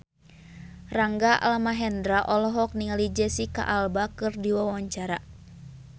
Rangga Almahendra olohok ningali Jesicca Alba keur diwawancara